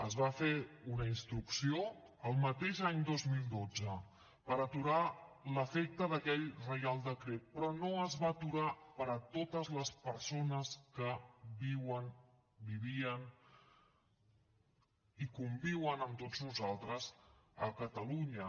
es va fer una instrucció el mateix any dos mil dotze per aturar l’efecte d’aquell reial decret però no es va aturar per a totes les persones que viuen vivien i conviuen amb tots nosaltres a catalunya